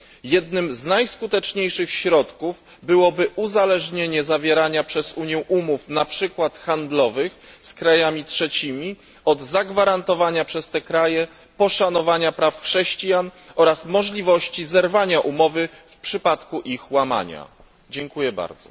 Jednym z najskuteczniejszych środków byłoby uzależnienie zawierania przez Unię umów, na przykład handlowych z krajami trzecimi, od zagwarantowania przez te kraje poszanowania praw chrześcijan oraz możliwości zerwania umowy w przypadku łamania tych praw.